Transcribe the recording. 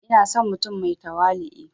Ina son mutum mai tawali'u